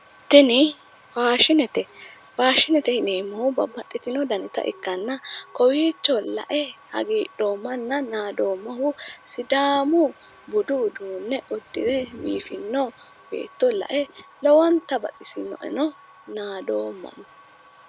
Tini faashinete faashinete yineemmohu babbaxxitino danita ikkanna kowiicho la"e hagiidhoommanna nadooommahu sidaamu budu uduunne uddire biifino beetto la"e lowonta baxisino"eno nadoomma.